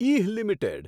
ઇહ limited